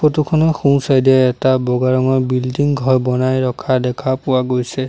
Photo খনৰ সোঁ side এ এটা বগা ৰঙৰ বিল্ডিং ঘৰ বনাই ৰখা দেখা পোৱা গৈছে।